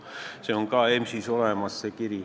See kiri on ka EMS-is olemas.